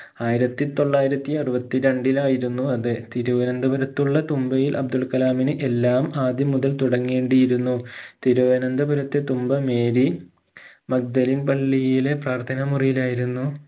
ആയിരത്തി തൊള്ളായിരത്തി അറുപത്തി രണ്ടിലായിരുന്നു അത് തിരുവനന്തപുരത്തുള്ള തുമ്പയിൽ അബ്ദുള്കലാമിന് എല്ലാം അദ്യം മുതൽ തുടങ്ങേണ്ടിയിരുന്നു തിരുവനന്തപുരത്തെ തുമ്പ മേരി മക്ഡലിന് പള്ളിയിലെ പ്രാർത്ഥനാമുറിയിലായിരുന്നു